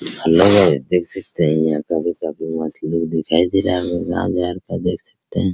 हल्ला हुआ है देख सकते है यहाँ कभी कभी मुस्लिम दिखाई दे रहा है रमजान देख सकते है ।